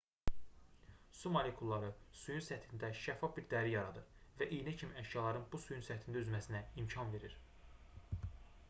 su molekulları suyun səthində şəffaf bir dəri yaradır və iynə kimi əşyaların bu suyun səthində üzməsinə imkan verir